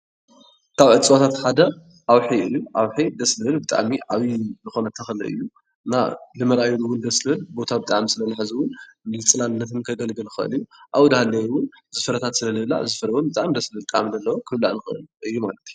ካብ እፀዋታት ሓደ ኣውሒ እዩ፡፡ ኣውሒ ደስ ዝብል ብጣዕሚ ዓብይ ዝኾነ ተኽሊ እዩ፡፡ ንምርኣዩ ውን ደስ ዝብል ቦታ ስለዝሕዝ ውን ንፅላልነት ውን ከገልግል ይኽእል እዩ፡፡ ኣውኡ እንዳሃለወ እውን እዚ ፍረታት ስለዝህብ ብጣዕሚ ደስ ዝብል ጣዕሚ ዘለዎ ክብላዕ ዝኽእል እዩ ማለት እዩ፡፡